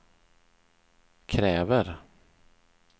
kräver